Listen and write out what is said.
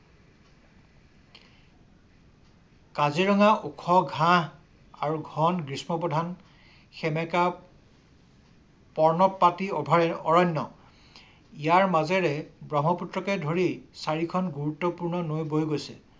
কাজিৰঙা ওখ ঘাঁহ আৰু ঘন গ্ৰীস্ম প্ৰধান সেমেকা পৰ্ণপাতী অভয়াৰণ্য ইয়াৰ মাজেৰে ব্ৰহ্মপুত্ৰকে চাৰিখন গুৰুত্বপূৰ্ণ নৈ বৈ গৈছে।